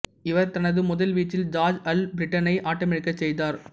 இவர் தனது முதல் வீச்சில் ஜார்ஜ் அல்பிரட்டினை ஆட்டமிழக்கச் செய்தார்